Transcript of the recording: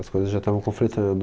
As coisas já estavam conflitando.